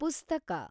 ಪುಸ್ತಕ